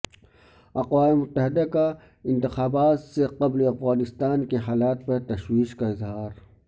اقوام متحدہ کا انتخابات سے قبل افغانستان کے حالات پر تشویش کا اظہار